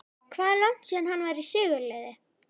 Hvað er langt síðan að hann var í sigurliði?